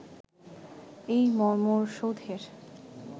এই মর্মর সৌধের